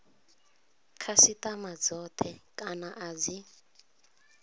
khasitama dzothe kana a dzi